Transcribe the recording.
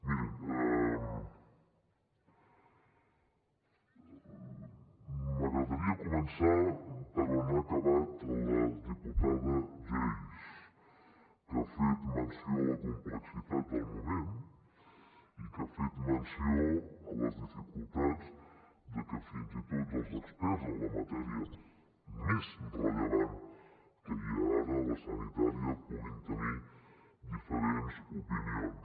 mirin m’agradaria començar per on ha acabat la diputada geis que ha fet menció a la complexitat del moment i que ha fet menció a les dificultats que fins i tot els experts en la matèria més rellevant que hi ha ara la sanitària puguin tenir diferents opinions